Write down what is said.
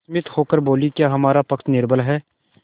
विस्मित होकर बोलीक्या हमारा पक्ष निर्बल है